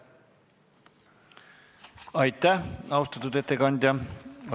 Aitäh, austatud ettekandja!